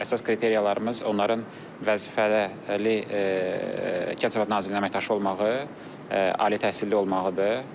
Əsas kriteriyalarımız onların vəzifəli Kənd təsərrüfatı Nazirliyinin əməkdaşı olmağı, ali təhsilli olmağıdır.